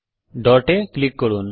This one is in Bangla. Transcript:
ডট এ টিপুন